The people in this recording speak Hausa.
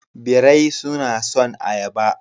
Birai suna son ayaba.